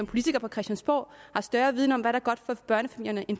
politikere på christiansborg har større viden om